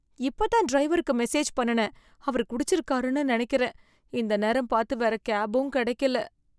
இப்ப தான் டிரைவருக்கு மெசேஜ் பண்ணுனேன், அவரு குடிச்சிருக்காருன்னு நெனைக்கிறேன், இந்த நேரம் பார்த்து வேற கேப்பும் கிடைக்கல.